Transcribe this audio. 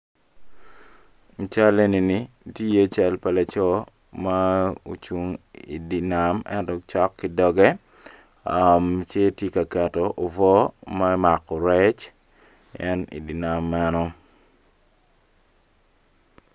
I cal eni ni tye i iye cal pa laco ma ocung idye nam ento cok ki doge cinge tye ka keto obwor me mako rec en idye nam meno